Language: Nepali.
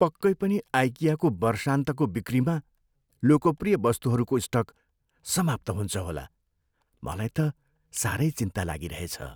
पक्कै पनि आइकियाको वर्षान्तको बिक्रीमा लोकप्रिय वस्तुहरूको स्टक समाप्त हुन्छ होला। मलाई त साह्रै चिन्ता लागिरहेछ।